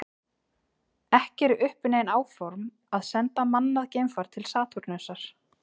Ekki eru uppi nein áform að senda mannað geimfar til Satúrnusar.